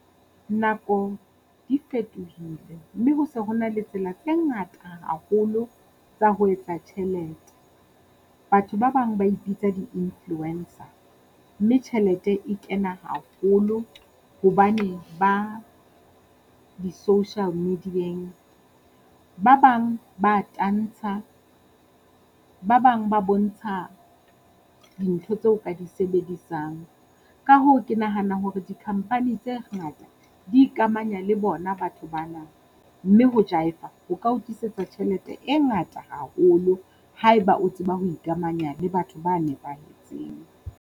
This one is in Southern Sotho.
Nako di fetohile, mme ho se ho na le tsela tse ngata haholo tsa ho etsa tjhelete. Batho ba bang ba ipitsa di-influencer, mme tjhelete e kena haholo hobane ba di social media-ng, ba bang ba tantsha, ba bang ba bontsha dintho tseo ka di sebedisang. Ka hoo, ke nahana hore di-company tse ngata di ikamanya le bona batho ba na. Mme ho jaefa, ho ka o tlisetsa tjhelete e ngata haholo haeba o tseba ho ikamanya le batho ba nepahetseng.